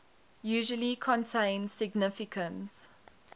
usually contain significant